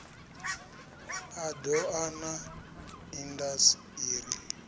a doa na indas iri